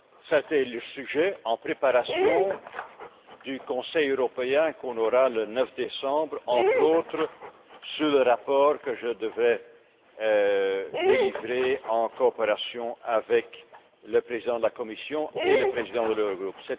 C'était le sujet en préparation du Conseil européen qui sera organisé le 9 décembre entre autres sur le rapport que je devais délivrer en coopération avec le Président de la Commission et le Président de l'Eurogroupe.